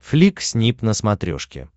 флик снип на смотрешке